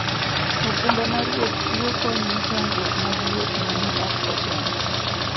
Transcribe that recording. okumba mar wuoth chiwo kony ne chandruok mag wuoth ma ne ok ochan.